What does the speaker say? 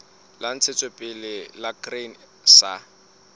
la ntshetsopele la grain sa